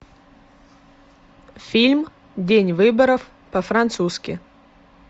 фильм день выборов по французски